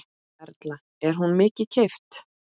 Erla: Er hún mikið keypt?